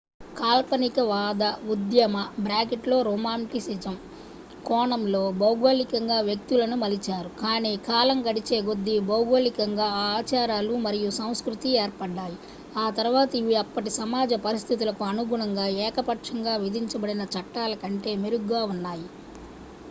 కాల్పనికవాద ఉద్యమరొమాంటిసిజం కోణంలో భౌగోళికంగా వ్యక్తులను మలిచారు కానీ కాలం గడిచే కొద్దీ భౌగోళికంగా ఆ ఆచారాలు మరియు సంస్కృతి ఏర్పడ్డాయి ఆ తర్వాత ఇవి అప్పటి సమాజ పరిస్థితులకు అనుగుణంగా ఏకపక్షంగా విధించబడిన చట్టాల కంటే మెరుగ్గా ఉన్నాయి